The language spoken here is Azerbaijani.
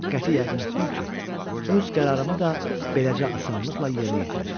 Qəti yəqin etdim ki, öz qərarımı da beləcə asanlıqla yerinə yetirəcəm.